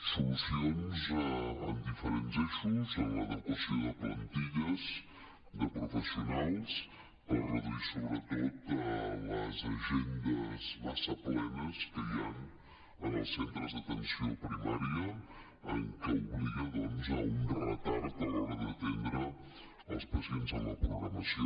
solucions en diferents eixos en l’adequació de plantilles de professionals per reduir sobretot les agendes massa plenes que hi han en els centres d’atenció primària que obliga a un retard a l’hora d’atendre els pacients en la programació